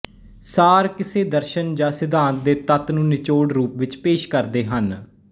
ਸਾਰ ਕਿਸੇ ਦਰਸ਼ਨ ਜਾਂ ਸਿਧਾਂਤ ਦੇ ਤੱਤ ਨੂੰ ਨਿਚੋੜ ਰੂਪ ਵਿਚ ਪੇਸ਼ ਕਰਦੇ ਹਨ